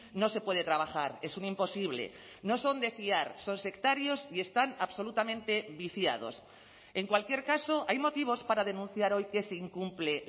no se puede trabajar es un imposible no son de fiar son sectarios y están absolutamente viciados en cualquier caso hay motivos para denunciar hoy que se incumple